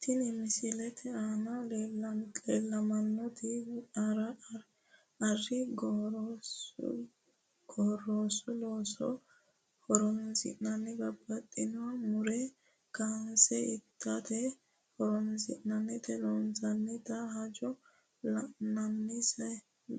Tinni misilete aanna la'neemoti ari gorsu looso horoonsi'ne babbaxitino muro kaanse itate horoonsi'nannita loonsoonnita hajo la'anonsa